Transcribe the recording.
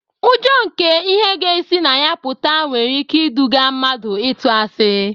Ụjọ nke ihe ga-esi na ya pụta nwere ike iduga mmadụ ịtụ asị.